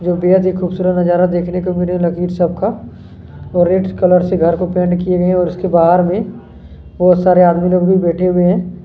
में बहुत सारे आदमी लोग भी बैठे हुए हैं।